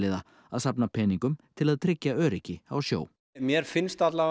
að safna peningum til að tryggja öryggi á sjó mér finnst að